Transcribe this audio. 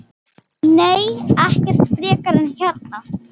Nei, ekkert frekar en hérna.